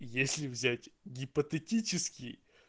если взять гипотетически